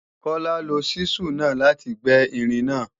Kọ́lá lo ṣísù náà láti gbẹ́ irin náà